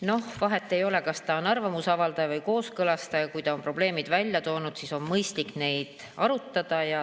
Noh, vahet ei ole, kas ta on arvamuse avaldaja või kooskõlastaja, kui ta on probleemid välja toonud, siis on mõistlik neid arutada.